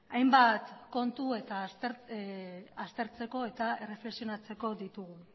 hainbat kontu aztertzeko eta erreflexionatzeko ditugu